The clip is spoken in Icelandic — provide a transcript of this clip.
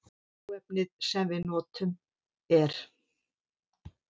Hráefnið sem við notum er